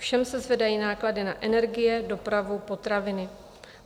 Všem se zvedají náklady na energie, dopravu, potraviny.